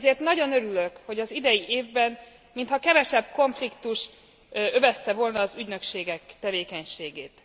Ezért nagyon örülök, hogy az idei évben mintha kevesebb konfliktus övezte volna az ügynökségek tevékenységét.